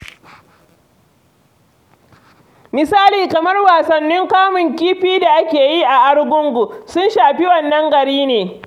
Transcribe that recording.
Misali kamar wasannin kamun kifi da ake yi a Argungu, sun shafi wannan gari ne.